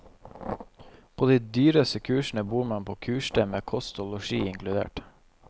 På de dyreste kursene bor man på kursstedet med kost og losji inkludert.